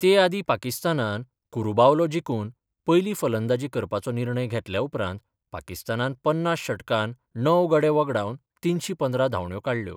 ते आदी पाकिस्तानान कुरुबावलो जिकून पयली फलंदाजी करपाचो निर्णय घेतल्या उपरांत पाकिस्तानान पन्नास षटकात णव गडे वगडावन तिनशी पंदरा धावण्यो काडल्यो.